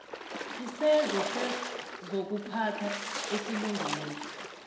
isenzo sezokuphatha esilungileko